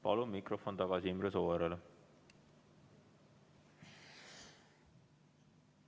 Palun mikrofon tagasi Imre Sooäärele!